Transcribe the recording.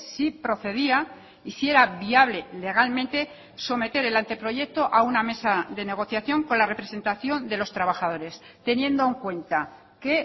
si procedía y si era viable legalmente someter el anteproyecto a una mesa de negociación con la representación de los trabajadores teniendo en cuenta que